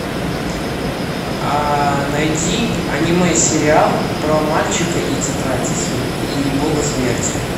найди аниме сериал про мальчика и тетрадь и бога смерти